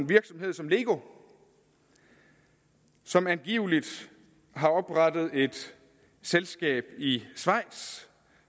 virksomhed som lego som angiveligt har oprettet et selskab i schweiz